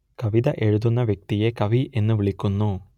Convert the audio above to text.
കവിത എഴുതുന്ന വ്യക്തിയെ കവി എന്നു വിളിക്കുന്നു